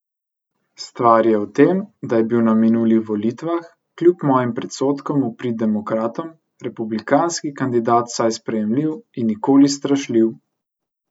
Stvar je v tem, da je bil na minulih volitvah, kljub mojim predsodkom v prid demokratom, republikanski kandidat vsaj sprejemljiv in nikoli strašljiv.